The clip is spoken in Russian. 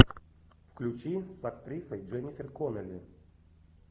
включи с актрисой дженнифер коннелли